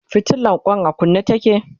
fitilan Kwan a kunne take